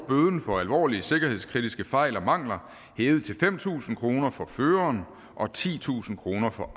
bøden for alvorlige sikkerhedskritiske fejl og mangler hævet til fem tusind kroner for føreren og titusind kroner for